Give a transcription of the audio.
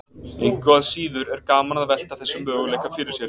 Engu að síður er gaman að velta þessum möguleika fyrir sér.